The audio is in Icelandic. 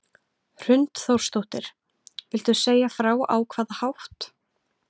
Hrund Þórsdóttir: Viltu segja frá á hvaða hátt?